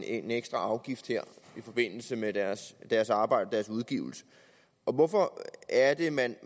en ekstra afgift i forbindelse med deres deres arbejde deres udgivelser hvorfor er det man